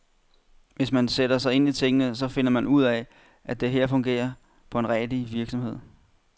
Hvis man sætter sig ind i tingene, så finder man ud af, at det her fungerer som på en rigtig virksomhed.